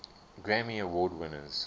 grammy award winners